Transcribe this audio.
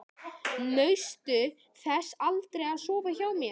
Naustu þess aldrei að sofa hjá mér?